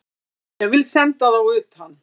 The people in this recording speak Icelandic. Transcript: Ég vil senda þá utan!